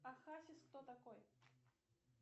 а хасис кто такой